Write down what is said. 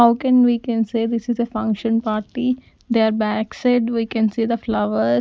how can we can say this is a function party their back side we can see the flower.